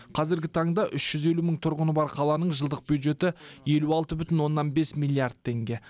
қазіргі таңда үш жүз елу мың тұрғыны бар қаланың жылдық бюджеті елу алты бүтін оннан бес миллиард теңге